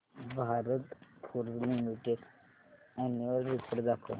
Bharat Forge limited annual report दाखव